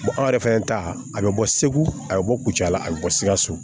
an yɛrɛ fɛnɛ ta a bɛ bɔ segu a bɛ bɔ kucala a bɛ bɔ sikaso